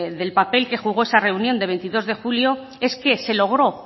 del papel que jugó esa reunión de veintidós de julio es que se logró